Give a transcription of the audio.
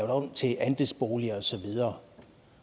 om til andelsboliger og så videre